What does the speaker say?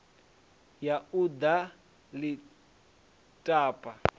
ya u ḓo ḽi tapa